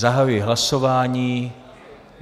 Zahajuji hlasování.